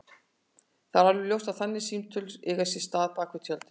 Það er alveg ljóst að þannig símtöl eiga sér stað bak við tjöldin.